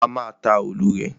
A má a ta òòlù rè.